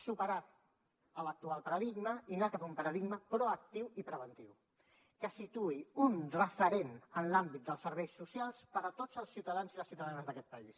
superar l’actual paradigma i anar cap a un paradigma proactiu i preventiu que situï un referent en l’àmbit dels serveis socials per a tots els ciutadans i les ciutadanes d’aquest país